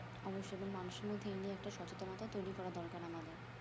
অবশ্যই এবং মানুষের মধ্যে এই নিয়ে একটা সচেনতা তৈরী করা দরকার আমাদের